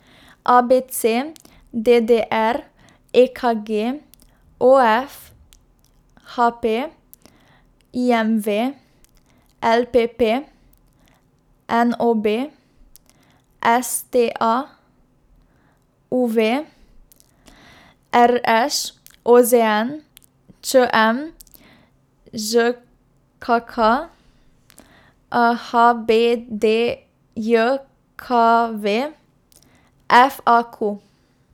A B C; D D R; E K G; O F; H P; I M V; L P P; N O B; S T A; U V; R Š; O Z N; Č M; Ž K K; H B D J K V; F A Q.